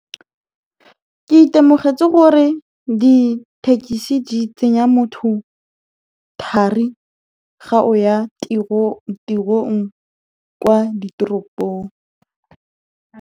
Ke itemogetse gore dithekesi di tsenya motho thari fa o ya tirong kwa ditoropong.